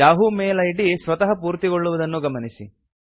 Yahoo mail ID ಸ್ವತಃ ಪೂರ್ತಿಗೊಳ್ಳುವುದನ್ನು ಗಮನಿಸಿ